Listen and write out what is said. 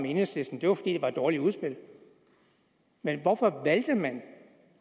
enhedslisten det var fordi det var et dårligt udspil men hvorfor valgte man